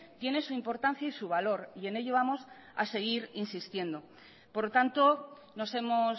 tiene su importancia y su valor y en ello vamos a seguir insistiendo por lo tanto nos hemos